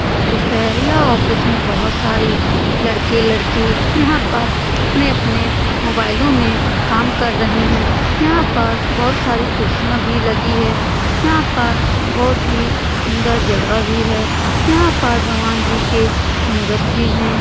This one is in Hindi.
ऑफिस है यह ऑफिस में बहुत सारे लड़के-लड़की यहाँ पर अपने-अपने मोबाइलो में काम कर रहे है यहाँ पर बहुत सारी कुर्सियां भी लगी है यहाँ पर बहुत ही सुन्दर जगह भी है यहाँ पर भगवान जी की मूरत भी है।